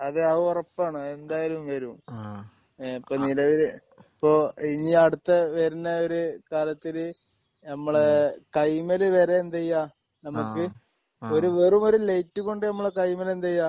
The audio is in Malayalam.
അതെ അത് ഒറപ്പാണ് അതെന്തായാലും വരുംഏഹ് ഇപ്പൊ നിലവില് ഇപ്പൊ ഇനി അടുത്ത വരുന്ന ഒരു കാലത്തിന് നമ്മളെ കയ്യിമ്മല് വരെ എന്ത് ചെയ്യാ? നമുക്ക് ആഹ് ഒരു വെറും ഒരു ലൈറ്റ് കൊണ്ട് നമ്മളെ കയ്യിമ്മല് എന്ത് ചെയ്യാം?